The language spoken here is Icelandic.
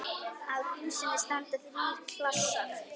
Að húsinu standa þrír klasar.